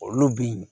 Olu bi